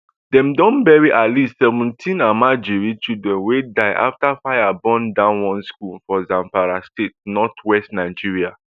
dem don bury at least seventeen almajiri children wey die afta fire burn down one school for zamfara state northwest nigeria